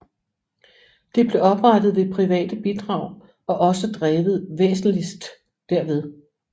Det blev oprettet ved private bidrag og også drevet væsentligst derved